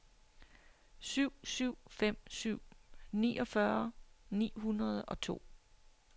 syv syv fem syv niogfyrre ni hundrede og to